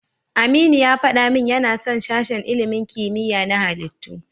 Aminu ya faɗa min yana son sashen ilimin kimiyya na halittu.